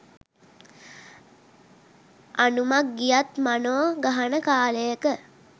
"අනුමක් ගියත් මනො ගහන" කාලයක